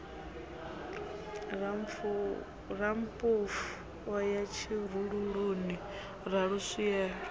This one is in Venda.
rammpofu o ya tshirululuni raluswielo